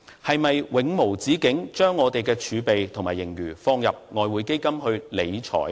是否要永無止境地把我們的儲備和盈餘放入外匯基金去理財呢？